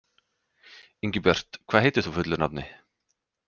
Ingibjört, hvað heitir þú fullu nafni?